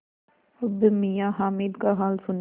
अब मियाँ हामिद का हाल सुनिए